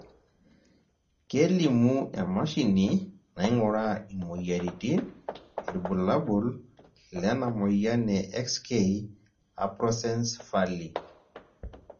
kelimu emashini nainguraa imoyiaritin irbulabol lena moyian e XK aprosencephaly